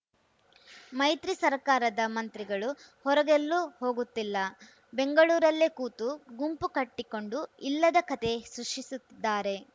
ಮೈತ್ರಿ ಸರ್ಕಾರದ ಮಂತ್ರಿಗಳು ಹೊರಗೆಲ್ಲೂ ಹೋಗುತ್ತಿಲ್ಲ ಬೆಂಗಳೂರಲ್ಲೇ ಕೂತು ಗುಂಪು ಕಟ್ಟಿಕೊಂಡು ಇಲ್ಲದ ಕಥೆ ಸೃಷ್ಟಿಸುತ್ತಿದ್ದಾರೆ